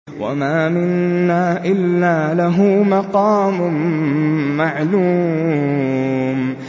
وَمَا مِنَّا إِلَّا لَهُ مَقَامٌ مَّعْلُومٌ